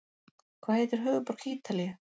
Hvað heitir höfuðborg Ítalíu?